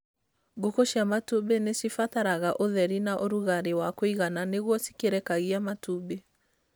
Ngũkũ cia matumbĩ nĩ cibataraga ũtheri na ũrugarĩ wa kũigana nĩguo cikĩrekagia matumbĩ.